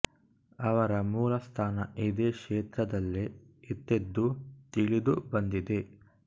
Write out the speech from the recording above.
ಅವರ ಮೂಲ ಸ್ಥಾನ ಇದೇ ಕ್ಷೇತ್ರದಲ್ಲೇ ಇತ್ತೆಂದು ತಿಳಿದು ಬಂದಿದೆ